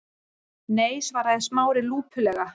Nei- svaraði Smári lúpulega.